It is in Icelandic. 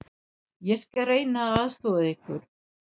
Ég skal reyna að aðstoða ykkur.